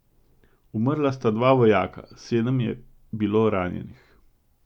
Umrla sta dva vojaka, sedem je bilo ranjenih.